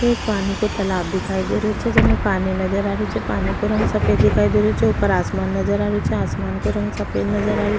ये पानी को तालाब दिखाई दे रेहो छे जेमे पानी नजर आ रेहो छे पानी को रंग सफ़ेद दिखाई दे रेहो छे ऊपर आसमान नजर आ रेहो छे आसमान को रंग सफ़ेद नजर आ रेहो।